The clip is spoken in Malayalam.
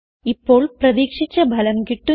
ഇപ്പോൾ പ്രതീക്ഷിച്ച ഫലം കിട്ടുന്നു